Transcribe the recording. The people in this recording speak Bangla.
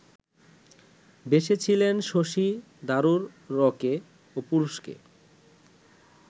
বেসেছিলেন শশী থারুরকে, পুরুষকে